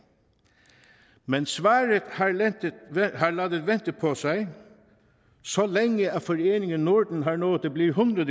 men svaret har ladet vente på sig så længe at foreningen norden har nået at blive hundrede